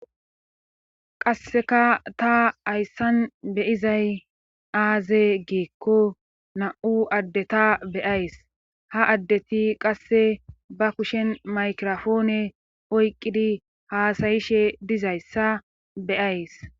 qasseka ta hayssan beyizay aaze geekko na7u addeta beyays ha addeti qasse ba kushen maykrofoone oyqqidi haasayishe dizayssa beyays